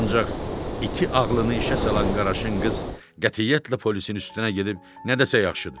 Ancaq iti ağlını işə salan Qaraşın qız qətiyyətlə polisin üstünə gedib nə desə yaxşıdır.